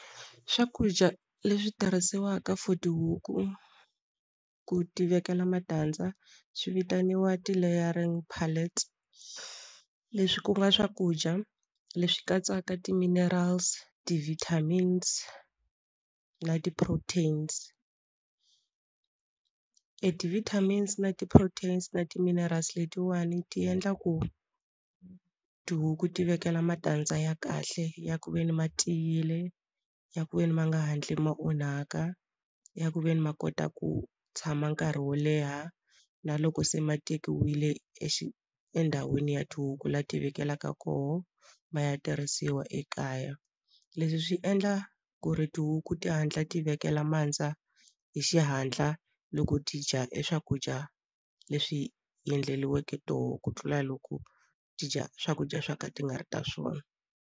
Swakudya leswi tirhisiwaka for tihuku ku tivekela matandza swi vitaniwa ti-Layering Palet leswi ku nga swakudya leswi katsaka ti-minerals ti-vitamins na ti-proteins e ti-vitamin na ti-protein na ti-minerals letiwani ti endla ku tihuku ti vekela matandza ya kahle ya ku ve ni ma tiyile ya ku veni ma nga hatli ma onhaka ya ku ve ni ma kota ku tshama nkarhi wo leha na loko se ma tekiwile endhawini ya tihuku laha ti vekelaka koho ma ya tirhisiwa ekaya leswi swi endla ku ri tihuku ti hatla ti vekela mandza hi xihatla loko ti dya e swakudya leswi endleriweke toho ku tlula loko ti dya swakudya swa ka ti nga ri ta swona.